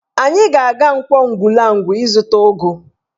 Anyị ga-aga Nkwọ Ugwulangwu ịzụta ụgụ